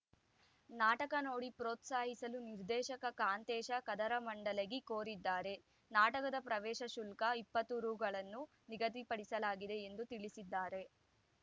ನಾಟಕ ನೋಡಿ ಪ್ರೋತ್ಸಾಹಿಸಲು ನಿರ್ದೇಶಕ ಕಾಂತೇಶ ಕದರಮಂಡಲಗಿ ಕೋರಿದ್ದಾರೆ ನಾಟಕದ ಪ್ರವೇಶ ಶುಲ್ಕ ಇಪ್ಪತ್ತು ರುಗಳನ್ನು ನಿಗದಿಪಡಿಸಲಾಗಿದೆ ಎಂದು ತಿಳಿಸಿದ್ದಾರೆ